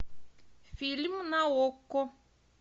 фильм на окко